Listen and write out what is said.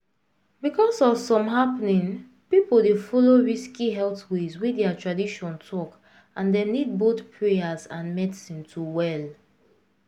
because of some happening people dey follow risky health ways wey their tradition talk and dem nid boyh prayers and medicine to well.